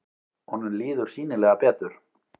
Honum líður sýnilega betur.